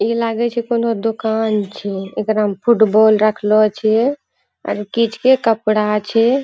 ई लागे छे कोनो दुकान छे। एकरामे फूटबॉल रखलो छे और किछ के कपड़ा छे।